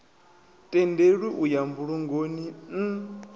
tendelwi u ya mbulungoni n